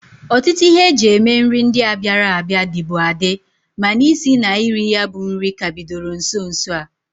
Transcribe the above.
Ọtụtụ ihe e ji eme nri ndia bịara abịa, dịbu adị mana isi na iri ya bụ nri ka bidoro nso nso a.